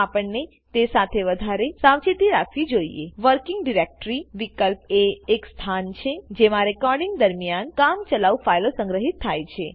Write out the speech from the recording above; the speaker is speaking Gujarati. તો આપણને તે સાથે વધારે સાવચેતી રાખવી જોઈએWorking Directoryવિકલ્પ એ એક સ્થાન છે જેમાં રેકોર્ડીંગ દરમ્યાન કામ ચલાઉ ફાઈલો સંગ્રહિત થાય છે